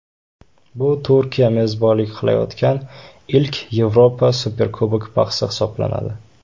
Bu Turkiya mezbonlik qilayotgan ilk Yevropa Superkubok bahsi hisoblanadi.